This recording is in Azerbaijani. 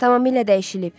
Tamamilə dəyişilib.